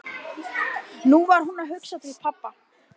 Nú var hún að hugsa til pabba.